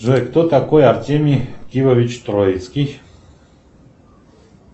джой кто такой артемий кивович троицкий